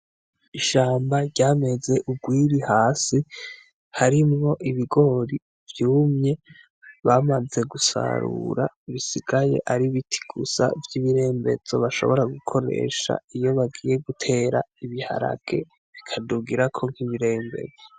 Ishamba ryameze urwiri hasi harimwo ibigori vyumye bamaze gusarura bisigaye ari biti gusa vy'ibirembezso bashobora gukoresha iyo bagiye gutera ibiharage bikadugirako nk'ibirembezo.